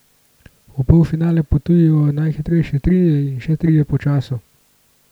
V polfinale potujejo najhitrejši trije in še trije po času.